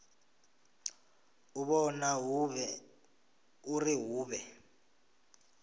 u vhona uri hu vhe